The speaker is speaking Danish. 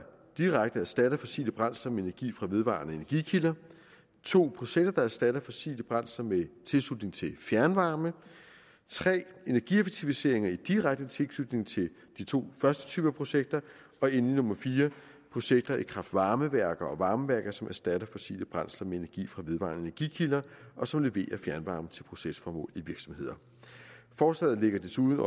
direkte erstatter fossile brændsler med energi fra vedvarende energikilder 2 processer der erstatter fossile brændsler med tilslutning til fjernvarme 3 energieffektiviseringer i direkte tilknytning til de to første typer projekter og endelig 4 projekter i kraft varme værker og varmeværker som erstatter fossile brændsler med energi fra vedvarende energikilder og som leverer fjernvarme til procesformål i virksomheder forslaget lægger desuden